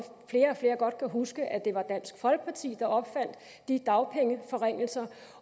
at flere og flere godt kan huske at det var dansk folkeparti der opfandt de dagpengeforringelser